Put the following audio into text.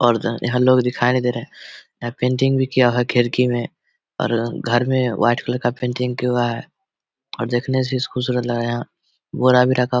और ज यहाँ लोग दिखाई नही दे रहे यहाँ पेंटिंग भी किया हुआ खिड़की में और घर में वाइट कलर का पेंटिंग किया हुआ है और देखने से खूबसूरत लग रहा बोरा भी रखा --